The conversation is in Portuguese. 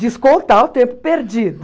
Descontar o tempo perdido.